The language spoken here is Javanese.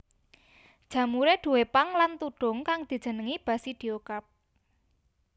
Jamuré duwé pang lan tudhung kang dijenengi basidiokarp